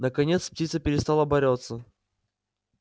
наконец птица перестала бороться